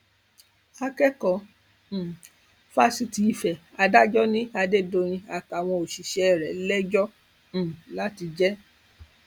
akẹkọọ um fásitì ìfẹ adájọ ni adédọyìn àtàwọn òṣìṣẹ rẹ lẹjọ um láti jẹ